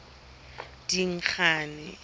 dingane